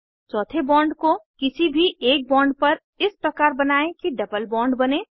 चौथे बॉन्ड को किसी भी एक बॉन्ड पर इस प्रकार बनायें कि डबल बॉन्ड बने